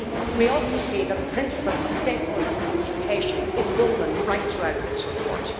We also see that the principle of stakeholder consultation is woven right throughout this report.